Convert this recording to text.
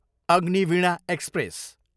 Agniveena express